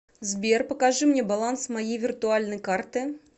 сбер покажи мне баланс моей виртуальной карты